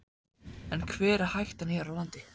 En hver er hættan hér á landi?